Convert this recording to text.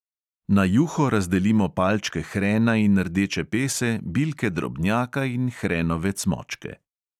Na juho razdelimo palčke hrena in rdeče pese, bilke drobnjaka in hrenove cmočke.